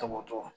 Toboto